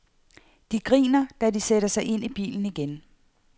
De griner, da de sætter sig ind i bilen igen.